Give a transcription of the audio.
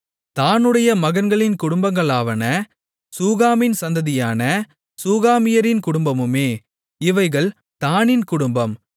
தாணுடைய மகன்களின் குடும்பங்களாவன சூகாமின் சந்ததியான சூகாமியரின் குடும்பமே இவைகள் தாணின் குடும்பம்